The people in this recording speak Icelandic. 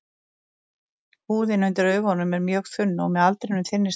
Húðin undir augunum er mjög þunn og með aldrinum þynnist hún.